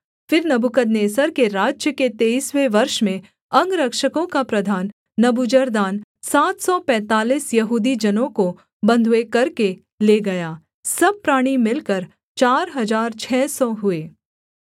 फिर नबूकदनेस्सर के राज्य के तेईसवें वर्ष में अंगरक्षकों का प्रधान नबूजरदान सात सौ पैंतालीस यहूदी जनों को बँधुए करके ले गया सब प्राणी मिलकर चार हजार छः सौ हुए